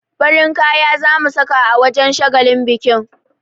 Farin kaya za mu saka a wajen shagalin bikin.